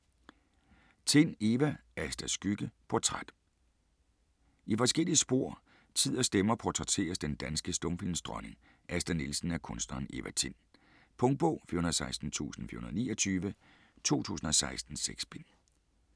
Tind, Eva: Astas skygge: portræt I forskellige spor, tid og stemmer portrætteres den danske stumfilmdronning Asta Nielsen af kunstneren Eva Tind. Punktbog 416429 2016. 6 bind.